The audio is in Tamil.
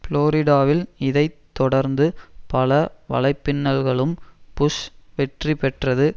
புளோரிடாவில் இதை தொடர்ந்து பல வலைப்பின்னல்களும் புஷ் வெற்றி பெற்றது